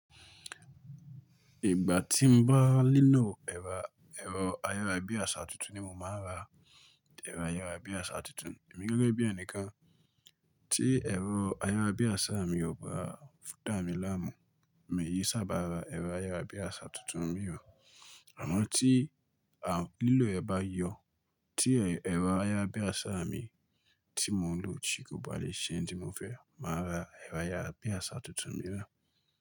Ìgbà tí mo bá nílò ẹ̀rọ ayárabiàṣá tuntun ni mo máa ra ẹ̀rọ ayárabíàṣá tuntun. Èmi gẹ́gẹ́ bí ẹnìkan tí ẹ̀rọ ayára bí àṣá mi ò bá fún dà mi láàmú, mi ò kí ṣábà ra ẹ̀rọ ayárabíàṣá tuntun mìíràn. Àmọ́ tí àwọn lílọ̀ ẹ bá yọ, tí ẹ̀rọ ayárabíàṣá mi tí mò ń lò ti kò bá lè ṣe ń di mo fẹ́, màá ra ẹ̀rọ ayárabíàṣá tuntun mìíràn.